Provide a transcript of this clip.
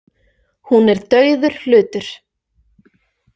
Hún er dauður hlutur.